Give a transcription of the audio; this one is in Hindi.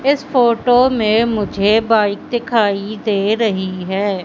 इस फोटो में मुझे बाइक दिखाई दे रही है।